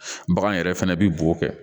Bagan yɛrɛ fɛnɛ bɛ bo kɛ